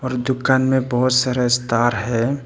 और दुकान में बहुत सारा स्टार है।